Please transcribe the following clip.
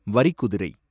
வரிக்குதிரை